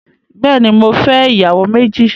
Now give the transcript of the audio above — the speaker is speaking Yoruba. Bẹẹni, mò fẹ̀ iyàwó mẹji